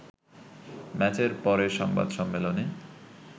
ম্যাচের পরে সংবাদ সম্মেলনে